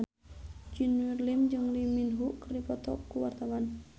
Junior Liem jeung Lee Min Ho keur dipoto ku wartawan